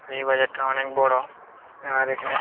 এই বাজারটা অনেক বড় আর এখানে--